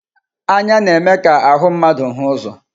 Anya na-eme ka ahụ mmadụ hụ ụzọ.